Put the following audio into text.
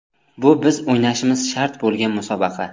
Bu biz o‘ynashimiz shart bo‘lgan musobaqa.